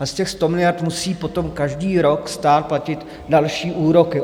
A z těch 100 miliard musí potom každý rok stát platit další úroky.